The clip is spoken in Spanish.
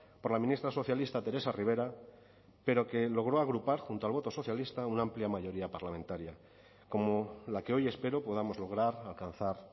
por la ministra socialista teresa rivera pero que logró agrupar junto al voto socialista una amplia mayoría parlamentaria como la que hoy espero podamos lograr alcanzar